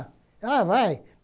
Ah, vai!